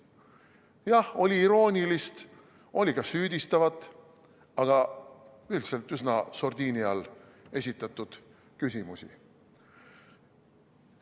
Jah, oli iroonilisi, oli ka süüdistavaid, aga üldiselt üsna sordiini all esitatud küsimusi.